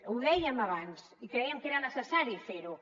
ho dèiem abans i creiem que era necessari fer ho